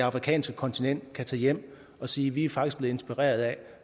afrikanske kontinent kan tage hjem og sige vi er faktisk blevet inspireret af